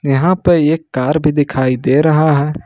यहां पर एक कार भी दिखाई दे रहा है।